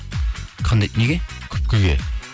қандай неге күпкіге